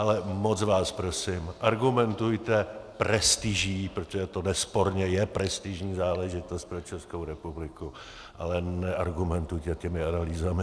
Ale moc vás prosím, argumentujte prestiží, protože to nesporně je prestižní záležitost pro Českou republiku, ale neargumentujte těmi analýzami.